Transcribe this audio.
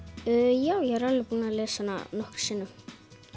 já ég er alveg búin að lesa hana nokkrum sinnum